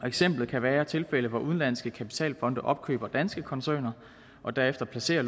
eksempel kan være tilfælde hvor udenlandske kapitalfonde opkøber danske koncerner og derefter placerer